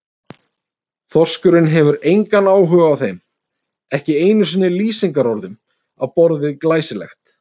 Þorskurinn hefur engan áhuga á þeim, ekki einu sinni lýsingarorðum á borð við glæsilegt.